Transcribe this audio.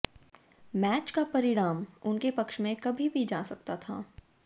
match का परिणाम उनके पक्ष में कभी भी जा सकता था